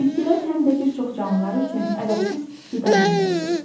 Bitkilər həm də bir çox canlılar üçün əvəzsiz qida mənbəyidir.